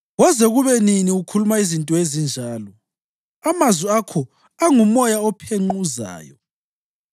“Koze kube nini ukhuluma izinto ezinjalo? Amazwi akho angumoya ophenquzayo.